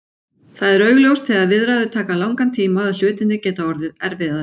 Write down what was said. Það er augljóst þegar viðræður taka langan tíma að hlutirnir gera orðið erfiðari.